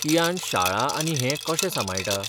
कियान शाळा आनी हें कशें सांबाळटा?